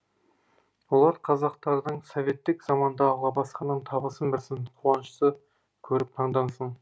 олар қазақтардың советтік заманда алға басқанын табысын білсін қанышты көріп таңдансын